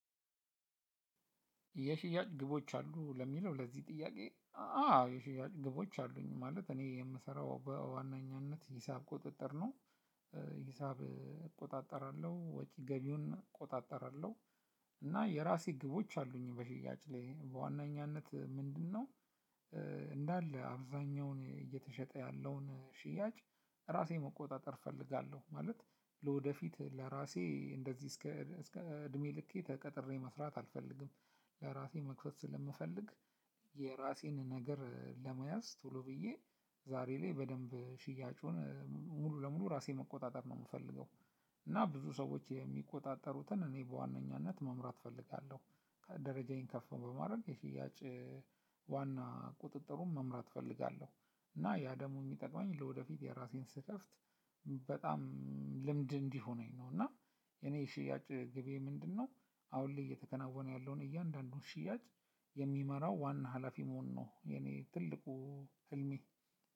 የሽያጭ ግቦች አሉህ ለሚለው ለዚህ ጥያቄ? አዎ የሽያጭ ግቦች አሉኝ ማለት እኔ የምሰራው በዋናኛነት ሂሳብ ቁጥጥር ነው። ሂሳብ እቆጣጠራለሁ ወጪ ገቢውን እቆጣጠራለሁ። እና የራሴ ግቦች አሉኝ በሽያጭ ላይ በዋነኛነት ምንድነው? እንዳለ አብዛኛውን እየተሸጠ ያለውን ሽያጭ እራሴ መቆጣጠር እፈልጋለሁ ማለት። ለወደፊት ለራሴ እንደዚህ እስከ እድሜ ልኬ ተቀጥሬ መስራት አልፈልግም። ለራሴ መክፈት ስለምፈልግ። የራሴን ነገር ለመያዝ ቶሎ ብዬ ዛሬ ላይ በደንብ ሽያጩን ሙሉ ለሙሉ እራሴ መቆጣጠር ነው እምፈልገው። እና ብዙ ሰዎች የሚቆጣጠሩትን እኔ በዋነኛነት መምራት እፈልጋለሁ። ደረጃዬን ከፍ በማድረግ የሽያጭ ቁጥጥሩን መምራት እፈልጋለሁ። እና ያ ደግሞ እሚጠቅመኝ ለወደፊት የራሴን ስከፍት ልምድ እንዲሆነኝ ነው። እና የኔ ሽያጭ ግቤ ምንድንነው? አሁን ላይ እየተከናወነ ያለውን እያንዳንዱን ሽያጭ የሚመራው ዋና ሀላፊ መሆን ነው የኔ ትልቁ ህልሜ።